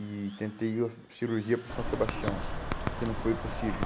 e tentei o a cirurgia para São Sebastião, porque não foi possível.